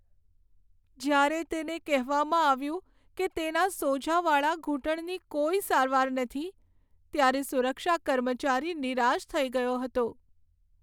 જ્યારે તેને કહેવામાં આવ્યું કે તેના સોજાવાળા ઘૂંટણની કોઈ સારવાર નથી ત્યારે સુરક્ષા કર્મચારી નિરાશ થઈ ગયો હતો.